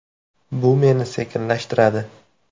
Bu meni sekinlashtiradi.